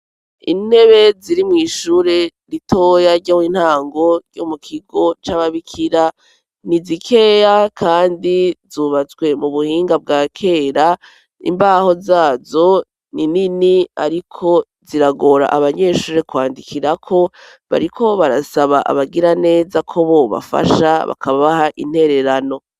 Intebe ziri mw'ishure ritoya ry'intango ryo mu kigo c'ababikira ni zikeya kandi zubatswe mu buhinga bwa kera, imbaho zazo ni nini ariko ziragora abanyeshure kwandikirako; bariko barasaba abagiraneza ko bobafasha bakabaha intererano.